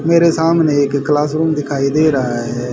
मेरे सामने एक क्लासरूम दिखाई दे रहा है।